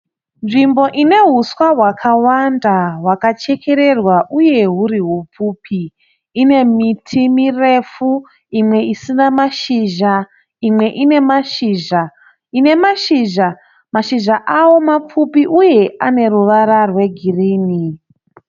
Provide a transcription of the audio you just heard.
Nzvimbo ine huswa hwakawanda hwakachekererwa uye huri hupfupi. Ine miti mirefu imwe isina mashizha imwe ine mashizha, imwe ine mashizha. Ine mashizha, mashizha awo mapfupi uye ane ruvara rwegirini